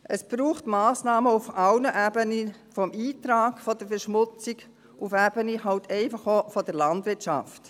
Es braucht Massnahmen auf allen Ebenen, vom Eintrag der Verschmutzung, halt einfach auch auf der Ebene der Landwirtschaft.